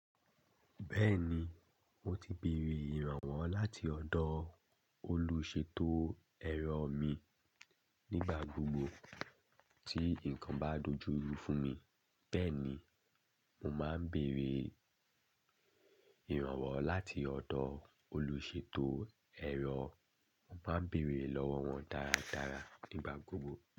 Bẹ́ẹ̀ni, mo ti béèrè ìrànwọ́ láti ọ̀dọ̀ olùṣètò ẹ̀rọ mi. Nígbà gbogbo tí nǹkan bá dojú rú fún mi, bẹ́ẹ̀ ni mo máa ń béèrè ìrànwọ́ láti ọ̀dọ̀ olùṣètò ẹ̀rọ. Mo máa ń béèrè lọ́wọ́ wọn dáradára nígbà gbogbo.